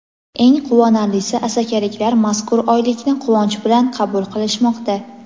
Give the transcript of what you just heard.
Eng quvonarlisi asakaliklar mazkur oylikni quvonch bilan qabul qilishmoqda.